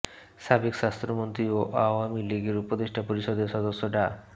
সাবেক স্বাস্থ্যমন্ত্রী ও আওয়ামী লীগের উপদেষ্টা পরিষদের সদস্য ডা